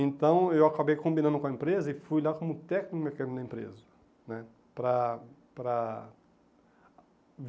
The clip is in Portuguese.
Então, eu acabei combinando com a empresa e fui lá como técnico mecânico da empresa né. Para para